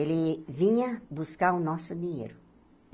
Ele vinha buscar o nosso dinheiro.